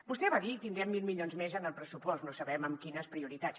vostè va dir tindrem mil milions més en el pressupost no sabem amb quines prioritats